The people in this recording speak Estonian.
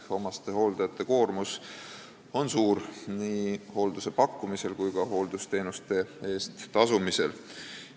Omastehooldajate koormus on suur nii hoolduse pakkumisel kui ka hooldusteenuste eest tasumisel.